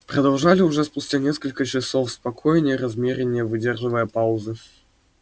продолжали уже спустя несколько часов спокойнее размеренней выдерживая паузы